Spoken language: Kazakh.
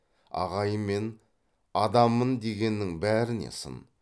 ағайынмен адаммын дегеннің бәріне сын